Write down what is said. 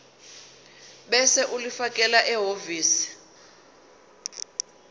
ebese ulifakela ehhovisi